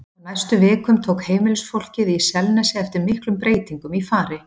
Á næstu vikum tók heimilisfólkið í Selnesi eftir miklum breytingum í fari